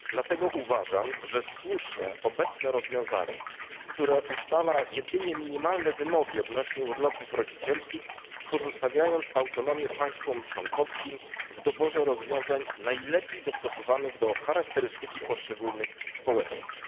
Dlatego uważam, że słuszne jest obecne rozwiązanie, które ustala jedynie minimalne wymogi odnośnie urlopów rodzicielskich, pozostawiając państwom członkowskim autonomię w doborze rozwiązań najlepiej dostosowanych do charakterystyki poszczególnych społeczeństw.